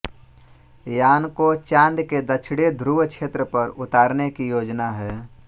यान को चाँद के दक्षिणी ध्रुव क्षेत्र पर उतारने की योजना है